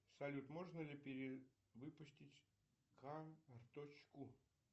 салют можно ли перевыпустить карточку